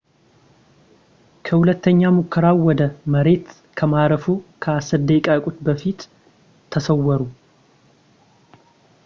ከሁለተኛ ሙከራው ወደ መሬት ከማረፉ ከአስር ደቂቃዎች በፊት ተሰወረ